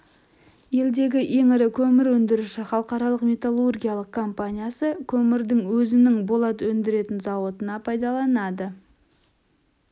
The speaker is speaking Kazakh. елдегі ең ірі көмір өндіруші халықаралық металлургиялық компаниясы көмірді өзінің болат өндіретін зауытына пайдаланады